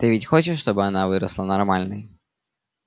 ты ведь хочешь чтобы она выросла нормальной